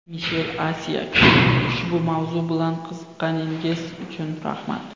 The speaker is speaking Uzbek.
Mishel Asiyag : Ushbu mavzu bilan qiziqqaningiz uchun rahmat.